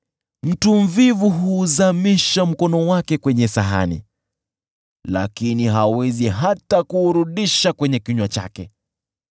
Mtu mvivu hutumbukiza mkono wake kwenye sahani, lakini hawezi hata kuupeleka kwenye kinywa chake!